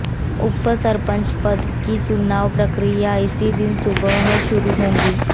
उप सरपंच पद की चुनाव प्रक्रिया इसी दिन सुबह शुरू होगी